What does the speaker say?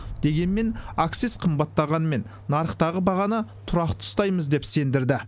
дегенмен акциз қымбаттағанымен нарықтағы бағаны тұрақты ұстаймыз деп сендірді